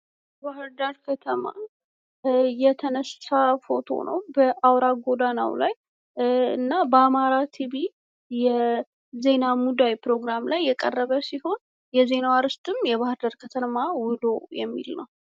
ባህርዳር ከተማ የተነሳ ፎቶ ነው። በአውራ ጎዳናው ላይ እና በአማራ ቲቪ የዜና ሙዳይ ፕሮግራም ላይ የቀረበ ሲሆን የዜናው አርዕስትም የባህርዳር ከተማ ውሎ የሚል ነው።